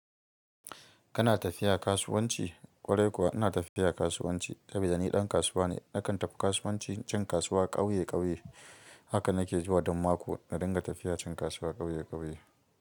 Kana tafiya kasuwanci? Ƙwarai kuwa ina tafiya kasuwanci, sabi da ni ɗan kasuwa ne. Nakan tafi kasuwanci can kasuwa ƙauye ƙauye. Haka na ke zuwa duk mako na dinga tafiya cin kasuwa ƙauye ƙauye.